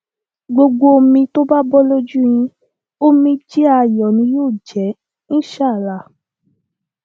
gbogbo omi tó bá bọ lójú yín omijé ayọ ni yóò jẹ insha allah